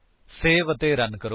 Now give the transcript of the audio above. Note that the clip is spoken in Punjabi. ਸੇਵ ਅਤੇ ਰਨ ਕਰੋ